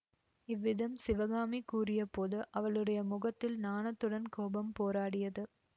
இவ்விதம் சிவகாமி கூறியபோது அவளுடைய முகத்தில் நாணத்துடன் கோபம் போராடியது